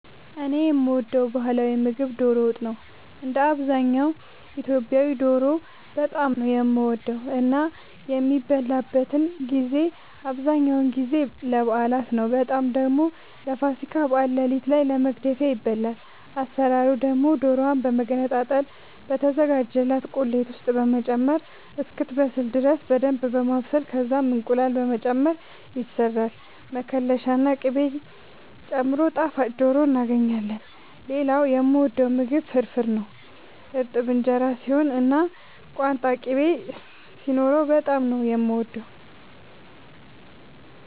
እኔ የምወደው ባህላዊ ምግብ ዶሮ ወጥ ነው። እንደ አብዛኛው ኢትዮጵያዊ ዶሮ በጣም ነው የምወደው እና የሚበላበትን ጊዜ አብዛኛውን ጊዜ ለበዓላት ነው በጣም ደግሞ ለፋሲካ በዓል ሌሊት ላይ ለመግደፊያ ይበላል። አሰራሩ ደግሞ ዶሮዋን በመገነጣጠል በተዘጋጀላት ቁሌት ውስጥ በመጨመር እስክትበስል ድረስ በደንብ በማብሰል ከዛም እንቁላል በመጨመር ይሰራል መከለሻ ና ቅቤ ጨምሮ ጣፋጭ ዶሮ እናገኛለን። ሌላኛው የምወደው ምግብ ፍርፍር ነው። እርጥብ እንጀራ ሲሆን እና ቋንጣ ቅቤ ሲኖረው በጣም ነው የምወደው።